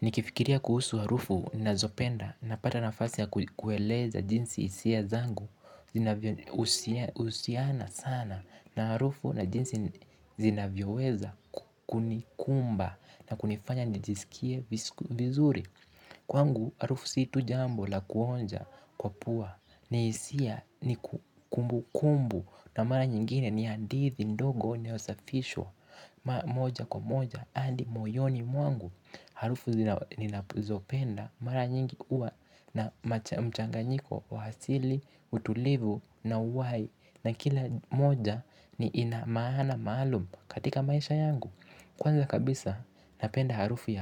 Nikifikiria kuhusu harufu ninazo penda napata nafasi ya kueleza jinsi hisia zangu zinavyo husiana sana na harufu na jinsi zinavyoweza kunikumba na kunifanya nijisikie vizuri. Kwangu harufu si tu jambo la kuonja kwa pua ni hisia ni kumbukumbu na mara nyingine ni hadithi ndogo ni usafisho moja kwa moja adi moyoni mwangu. Harufu ninazopenda mara nyingi huwa na mchanganyiko wa asili utulivu na uhai na kila moja ina maana maalum katika maisha yangu kwanza kabisa napenda harufu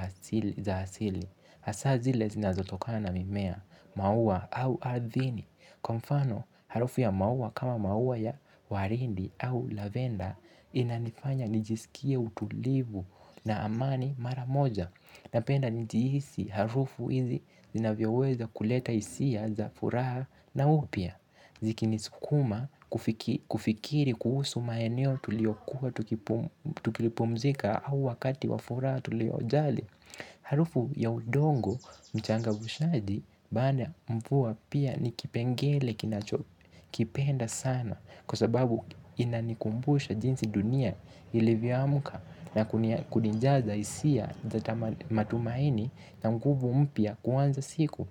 za asili hasa zile zinazotokana na mimea maua au ardhini kwa mfano harufu ya maua kama maua ya waridi au lavenda. Inanifanya nijisikie utulivu na amani mara moja na penda nijihisi harufu hizi zina vyoweza kuleta hisia za furaha na upya. Zikini sukuma kufikiri kuhusu maeneo tulio kua tukipumzika au wakati wafuraha tulio jali. Harufu ya udongo mchanga ushaji baada ya mvua pia nikipengele kina cho kipenda sana. Kwa sababu inanikumbusha jinsi dunia ilivyoamka na kunijaza hisia za matumaini na mpya kuanza siku.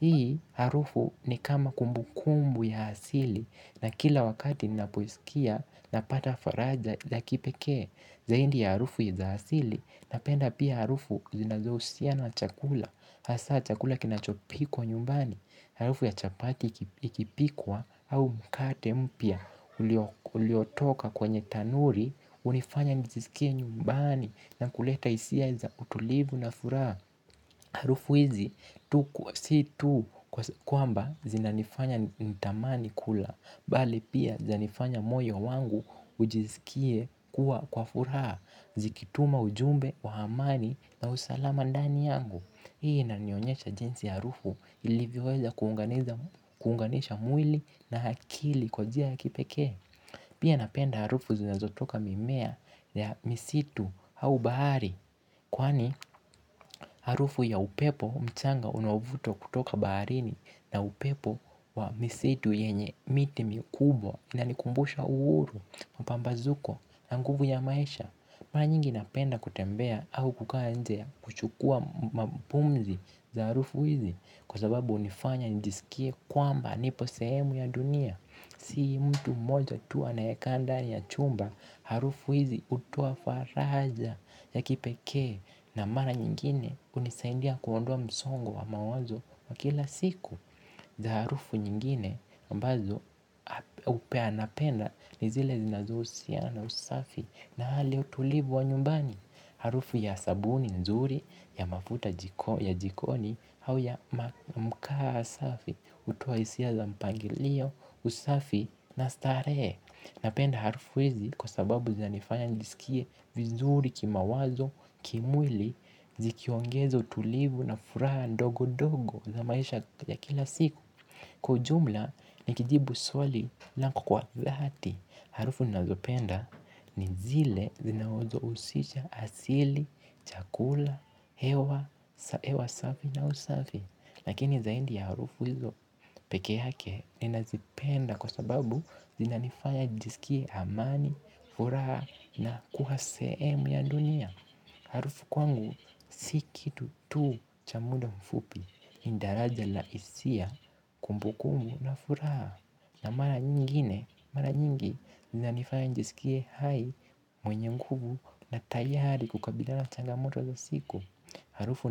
Hii harufu ni kama kumbu kumbu ya asili na kila wakati ninapo isikia napata faraja za kipeke zaidi ya harufu za asili na penda pia harufu zinazo husiana chakula hasa chakula kinachopikwa nyumbani harufu ya chapati ikipikwa au mkate mpya uliotoka kwenye tanuri hunifanya nijisikie nyumbani na kuleta hisia za utulivu na furaha. Harufu hizi si tu kwamba zinanifanya nitamani kula. Bali pia zanifanya moyo wangu ujisikie kuwa kwa furaha. Ziki tuma ujumbe wa amani na usalama ndani yangu. Hii inanionyesha jinsi harufu ilivyoweza kuunganisha mwili na akili kwa njia ya kipekee. Pia napenda harufu zinazotoka mimea ya misitu au bahari. Kwani harufu ya upepo mchanga unavutwa kutoka baharini na upepo wa misitu yenye miti mikubwa inanikumbusha uhuru mpambazuko na nguvu ya maisha. Mara nyingi napenda kutembea au kukaa kuchukua pumzi za harufu hizi kwa sababu hunifanya njisikie kwamba nipo sehemu ya dunia. Si mtu mmoja tu anae kaa ndani ya chumba harufu hizi hutoa faraja ya kipekee na mara nyingine hunisaindia kuondoa msongo wa mawazo wa kila siku. Za harufu nyingine ambazo upea napenda ni zile zinazohusiana na usafi na hali utulivu wa nyumbani. Harufu ya sabuni nzuri, ya mafuta ya jikoni, au ya mkaa safi, hutoa hisia za mpangilio, usafi, na starehe. Napenda harufu hizi kwa sababu zinanifanya nilisikie vizuri kima wazo, kimwili, zikiongeza utulivu na furaha ndogo ndogo za maisha ya kila siku. Kwa ujumla, nikijibu swali na kwa dhati, harufu ninazopenda ni zile zinazo husisha asili, chakula, hewa, hewa safi na usafi. Lakini zaidi ya harufu hizo peke yake ninazi penda kwa sababu zina nifanya jisikie amani, furaha na kua sehemu ya dunia. Harufu kwangu, si kitu tu cha muda mfupi, ni daraja la hisia, kumbukumbu na furaha. Na mara nyingine, mara nyingi, zinanifanya ni jisikie hai mwenye mkunguvu na tayari kukabilana na changamoto za siku. Harufu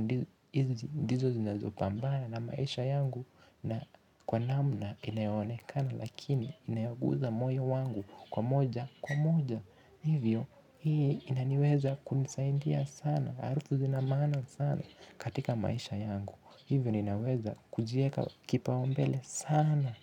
ndizo zinazo pambanana maisha yangu na kwa namna inayo onekana lakini inayogusa moyo wangu kwa moja kwa moja. Hivyo hii inaniweza kunisaindia sana. Harufu zina maana sana katika maisha yangu. Hivyo nina weza kujiweka kipaumbele sana.